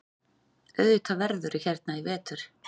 Auðvitað verðurðu hérna í vetur.